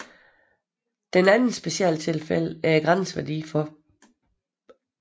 Det andet specialtilfælde er grænseværdien for